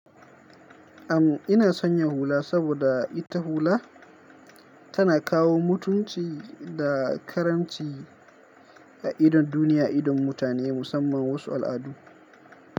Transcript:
Amma ina son yahuula saboda ita hula tana kawo mutunci da karamci a idon duniya, idon mutane musamman wasu al'adu.